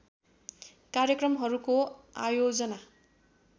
कार्यक्रमहरूको आयोजना